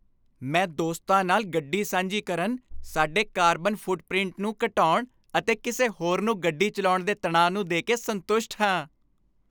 ਮੈਂ ਦੋਸਤਾਂ ਨਾਲ ਗੱਡੀ ਸਾਂਝੀ ਕਰਨ, ਸਾਡੇ ਕਾਰਬਨ ਫੁੱਟਪ੍ਰਿੰਟ ਨੂੰ ਘਟਾਉਣ ਅਤੇ ਕਿਸੇ ਹੋਰ ਨੂੰ ਗੱਡੀ ਚਲਾਉਣ ਦੇ ਤਣਾਅ ਨੂੰ ਦੇਕੇ ਸੰਤੁਸ਼ਟ ਹਾਂ।